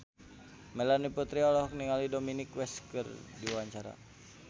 Melanie Putri olohok ningali Dominic West keur diwawancara